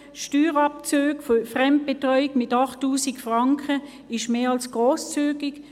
Die Steuerabzüge für Fremdbetreuung sind mit 8000 Franken mehr als grosszügig.